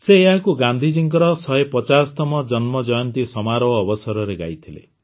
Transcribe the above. ସେ ଏହାକୁ ଗାନ୍ଧିଜୀଙ୍କର ୧୫୦ତମ ଜନ୍ମଜୟନ୍ତୀ ସମାରୋହ ଅବସରରେ ଗାଇଥିଲେ